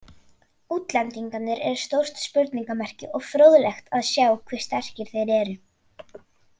Útlendingarnir eru stórt spurningamerki og fróðlegt að sjá hve sterkir þeir eru.